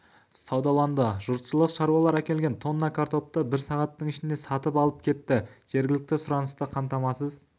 саудаланды жұртшылық шаруалар әкелген тонна картопы бір сағаттың ішінде сатып алып кетті жергілікті сұранысты қамтамасыз